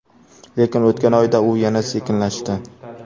Lekin, o‘tgan oyda u yana sekinlashdi.